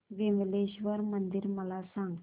विमलेश्वर मंदिर मला सांग